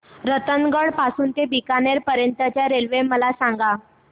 रतनगड पासून ते बीकानेर पर्यंत च्या रेल्वे मला सांगा